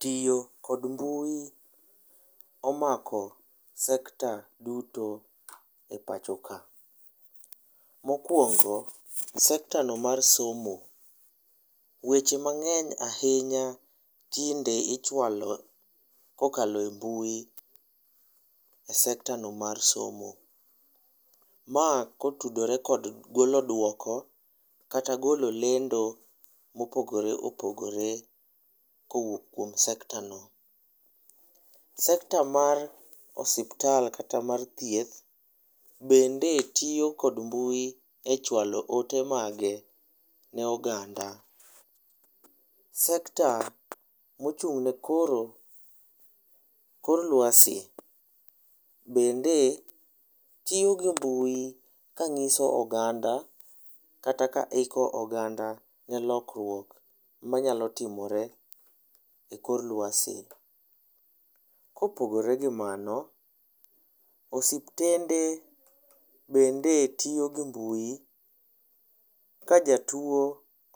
Tiyo kod mbui omako sekta duto e pachoka. Mokuongo sekta no mar somo, weche mangeny ahinya tinde ichwalo kokaloe mbui e sekta no mar somo . Ma kotudore kod golo duoko kata golo lendo mopogore opogore kowuok kuom sekta no. Sekta mar osiptal kata mar thieth bende tiyo gi mbui e chwalo ote mage ne oganda. Sekta mochung'ne koro kor lwasi bende tiyo gi mbui kangiso oganda kata kata iko oganda ne lokruok manyalo timore e kor lwasi. Kopogore gi mano, osiptende bende tiyo gi mbui ka jatuo